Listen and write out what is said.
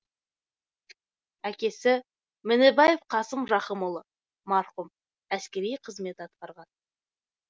әкесі мінібаев қасым рахымұлы марқұм әскери қызмет атқарған